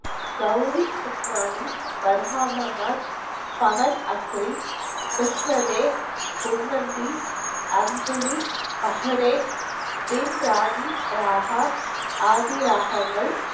கௌரி சுக்மானி, பர்ஹாமா மாஜ், பவண் அக்ரி, , உன்வந்தி, அந்துலி, அஹலே, தின் ரானி ராஹா, ஆதி ராகங்கள்